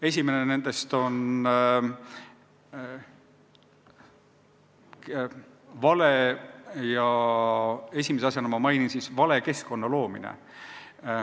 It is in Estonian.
Esimene nendest on vale keskkonna loomine.